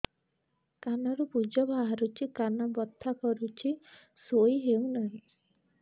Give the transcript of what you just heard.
କାନ ରୁ ପୂଜ ବାହାରୁଛି କାନ ବଥା କରୁଛି ଶୋଇ ହେଉନାହିଁ